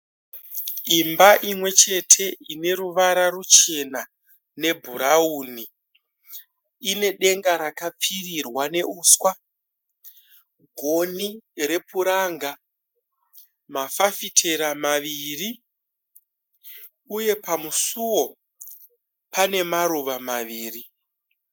Imba imwe chete ine ruvara ruchena nebhurauni. Ine denga rakapfirirwa neuswa, gonhi repuranga, mafafitera maviri uye pamusuo pane maruva maviri.